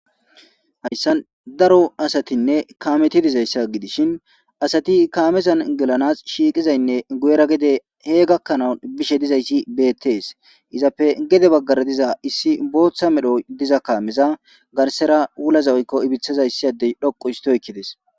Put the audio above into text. Hayisan daro asati nne kameti dizaysa gidishin asati kamezan gelana shiqizaynne guyera gede bizaysi betes izzappe gede bagara diza botha kameza garsera wulaza woykon ibithaza issi Adey dhoqu histi oykides